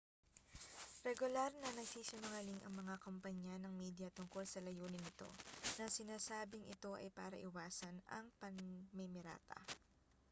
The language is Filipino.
regular na nagsisinungaling ang mga kompanya ng media tungkol sa layunin nito na sinasabing ito ay para iwasan ang pamimirata